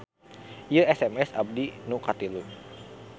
Ieu SMS abdi nu katilu